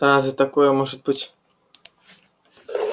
да за такое может быть